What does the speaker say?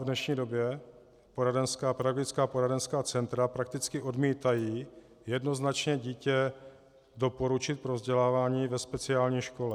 V dnešní době pedagogická a poradenská centra prakticky odmítají jednoznačně dítě doporučit pro vzdělávání ve speciální škole.